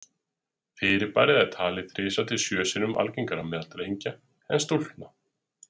Fyrirbærið er talið þrisvar til sjö sinnum algengara meðal drengja en stúlkna.